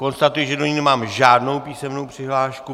Konstatuji, že do ní nemám žádnou písemnou přihlášku.